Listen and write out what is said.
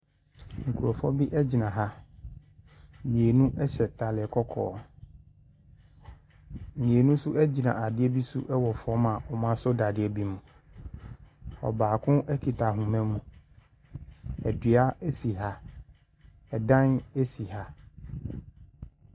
Nkorɔfoɔ bi agyina ha. Mienu ɛhyɛ ataaliɛ kɔkɔɔ. Mienu so egyina adeɛ bi so ɛwɔ fɔm a ɔmo asɔ dadeɛ bi mu. Ɔbaako ekita ahoma mu. Ɛdua esi ha. Ɛdan esi ha.